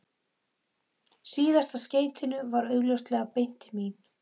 Síðasta skeytinu var augljóslega beint til mín.